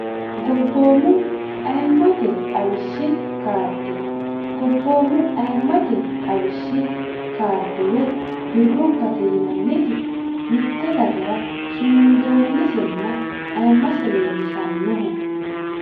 gobboomu ayimmate xawishshi kaarde gobboomu ayimmate xawishshi kaarde woy birrubbate yinanniti mitte dagara sumundoonnitenna ayimmase leellishannoho